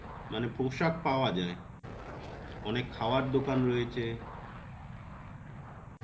মানে পোশাক পাওয়া যায়. অনেক খাবার দোকান রয়েছে.